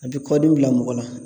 A bɛ kɔdimi bila mɔgɔ la